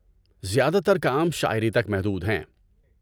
زیادہ تر کام شاعری تک محدود ہیں۔